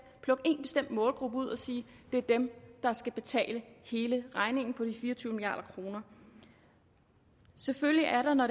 målgruppe ud og sige det er dem der skal betale hele regningen på de fire og tyve milliard kroner selvfølgelig er der når